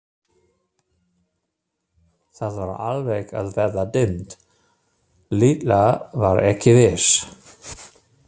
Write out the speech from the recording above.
Það var alveg að verða dimmt, Lilla var ekki viss.